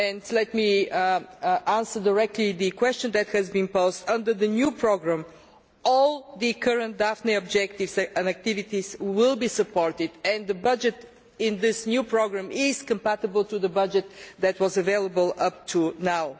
Let me answer directly the question that has been posed under the new programme, all the current Daphne objectives and activities will be supported, and the budget in this new programme is compatible with the budget that was available up to now.